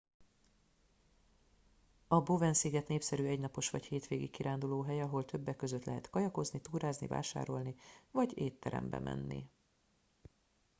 a bowen sziget népszerű egynapos vagy hétvégi kirándulóhely ahol többek között lehet kajakozni túrázni vásárolni vagy étterembe menni